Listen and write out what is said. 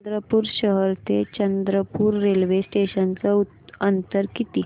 चंद्रपूर शहर ते चंद्रपुर रेल्वे स्टेशनचं अंतर किती